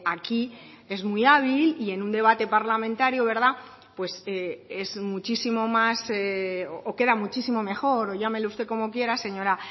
aquí es muy hábil y en un debate parlamentario pues es muchísimo más o queda muchísimo mejor o llámele usted como quiera señora